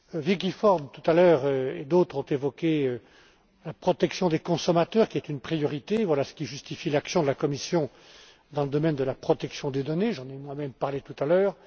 Vicky Ford tout à l'heure et d'autres ont évoqué la protection des consommateurs, qui est une priorité, ce qui justifie l'action de la Commission dans le domaine de la protection des données, j'en ai moi même parlé tout à l'heure.